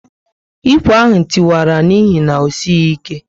Ikwe ahụ tiwara n'ihi na osighi ike